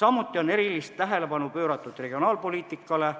Samuti on erilist tähelepanu pööratud regionaalpoliitikale,